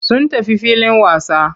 Sun tafi filin wasa.